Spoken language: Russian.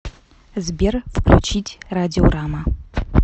сбер включить радиорама